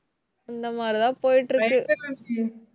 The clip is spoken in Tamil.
இந்த மாதிரிதான் போயிட்டிருக்கு.